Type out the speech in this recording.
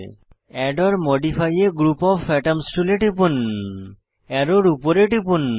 add or modify a group of atoms টুলে টিপুন অ্যারোর উপরে টিপুন